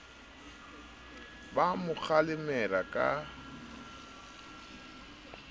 ba a mo kgalemela ka